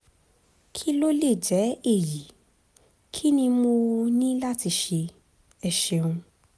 kí ló lè jẹ́ èyí? kí ni mo um ní láti ṣe? ẹ ṣeun!